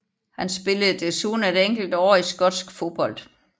Han spillede desuden et enkelt år i skotsk fodbold